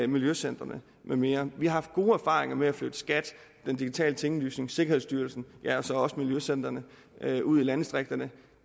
miljøcentrene med mere vi har haft gode erfaringer med at flytte skat den digitale tinglysning sikkerhedsstyrelsen ja og så også miljøcentrene ud i landdistrikterne